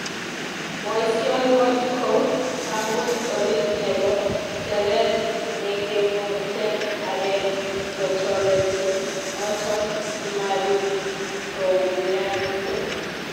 boisien kot ko tangus oriit nebo tereet nekemuten areek kotoreti noton simabiit koumianso.